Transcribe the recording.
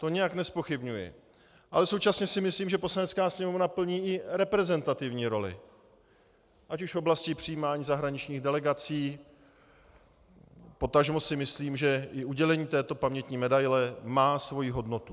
To nijak nezpochybňuji, ale současně si myslím, že Poslanecká sněmovna plní i reprezentativní roli, ať už v oblasti přijímání zahraničních delegací, potažmo si myslím, že i udělení této pamětní medaile má svoji hodnotu.